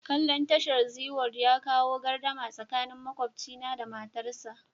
Kalla'n tashar Zee world ya kawo gardama tsakanin makwabcina da matarsa.